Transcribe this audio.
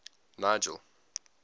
nigel